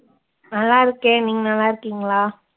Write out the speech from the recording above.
நல்லா இருக்கேன். நீங்க நல்லா இருக்கீங்களா?